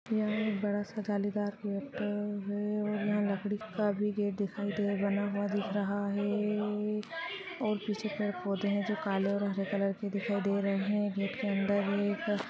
यहां बड़ा सा जालीदार गेट है और यहां लकड़ी का भी गेट दिखाई दे बना हुआ दिख रहा है और पिछली तरफ पोधे है जो काले और हरे कलर के दिखाई दे रहे हैं गेट के अंदर एक--